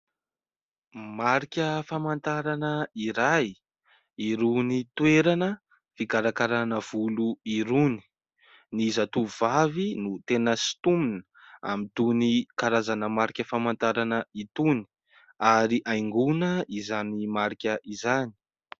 Marika famantarana iray, irony toerana fikarakarana volo irony. Ny zatovovavy no tena sintonina amin'itony karazana marika famantarana itony ary haingoina izany marika izany.